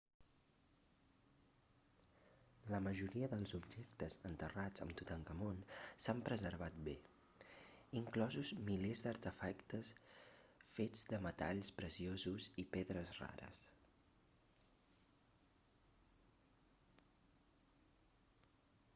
la majoria dels objectes enterrats amb tutankamon s'han preservat bé inclosos milers d'artefactes fets de metalls preciosos i pedres rares